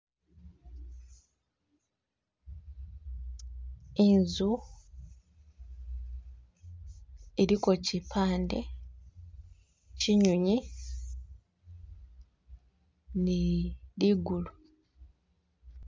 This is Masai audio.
Inzu iliko chipande chinyunyi ni ligulu.